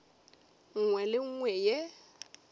nngwe le ye nngwe ye